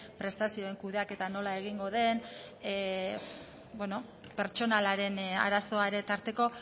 prestazioen kudeaketa nola egingo den pertsonalaren arazoa ere tarteko